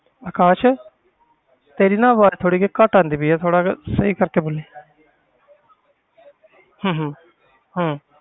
ਅਕਾਸ਼ ਤੇਰੀ ਨਾ ਆਵਾਜ਼ ਥੋੜ੍ਹੀ ਜਿਹੀ ਘੱਟ ਆਉਂਦੀ ਪਈ ਆ ਥੋੜ੍ਹਾ ਜਿਹਾ ਸਹੀ ਕਰਕੇ ਬੋਲੀ ਹਮ ਹਮ ਹਮ